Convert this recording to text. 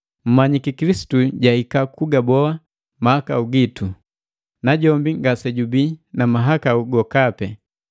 Mmanyiki Kilisitu jahika kugaboa mahakau gitu, najombi ngasejubii na mahakau gokapi.